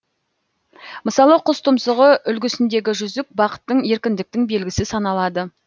мысалы құс тұмсығы үлгісіндегі жүзік бақыттың еркіндіктің белгісі саналады